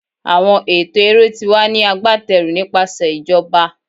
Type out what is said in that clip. Awọn ẹtọ ere ti wa ni agbateru nipasẹ ijoba